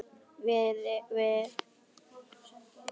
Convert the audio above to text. Vinnum við ekki sama starfið?